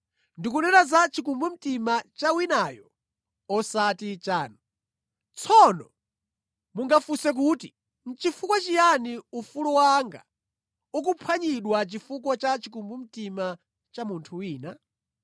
Ndikunena za chikumbumtima cha winayo osati chanu. Tsono mungafunse kuti, nʼchifukwa chiyani ufulu wanga ukuphwanyidwa chifukwa cha chikumbumtima cha munthu wina?